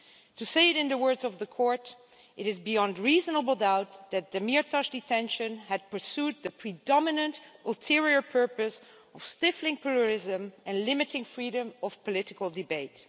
To say it in the words of the Court It is beyond reasonable doubt that the Demirtaş detention had pursued the predominant ulterior purpose of stifling pluralism and limiting freedom of political debate.'